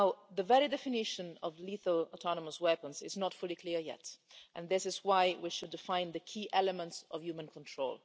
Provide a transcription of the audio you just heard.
The very definition of lethal autonomous weapons is not fully clear yet, and this is why we should define the key element of human control.